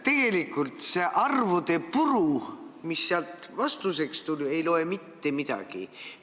Tegelikult see arvude puru, mis vastuseks tuli, ei loe mitte midagi.